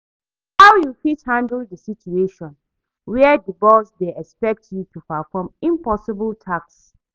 How you fit handle di situation where di boss dey expect you to perform impossible tasks?